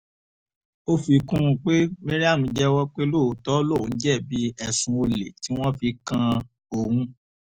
ó fi kún un pé mariam jẹ́wọ́ pé lóòótọ́ lòun jẹ̀bi ẹ̀sùn olè tí wọ́n fi kan òun